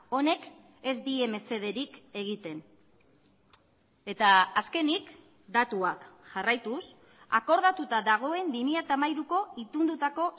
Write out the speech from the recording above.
honek ez die mesederik egiten eta azkenik datuak jarraituz akordatuta dagoen bi mila hamairuko itundutako